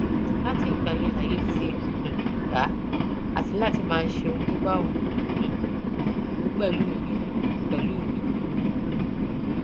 látìgbà yẹn lààyè ti um gbà á láti máa ṣe ohun tó bá wù um ú pẹlú mi pẹlú mi